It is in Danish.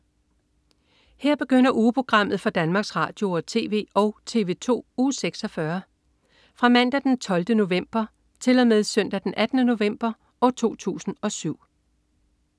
Her begynder ugeprogrammet for Danmarks Radio- og TV og TV2 Uge 46 Fra Mandag den 12. november 2007 Til Søndag den 18. november 2007